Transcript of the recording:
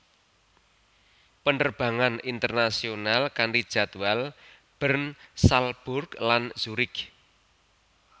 Penerbangan internasional kanti jadwal Bern Salzburg lan Zurich